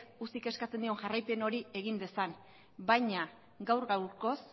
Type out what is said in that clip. ucik eskatzen dion jarraipen hori egin dezan baina gaur gaurkoz